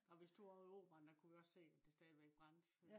da vi stod ovre i operaren kunne vi også se at det stadigvæk brændte